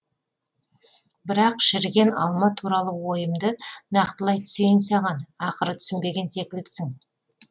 бірақ шіріген алма туралы ойымды нақтылай түсейін саған ақыры түсінбеген секілдісің